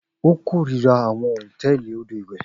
O korira awọn hotẹẹli odo iwẹ.